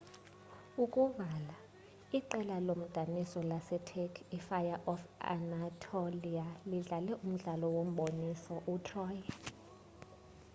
ukuvala iqela lomdaniso lase-turkey i-fire of anatolia lidlale umdlalo wombonisoo u- troy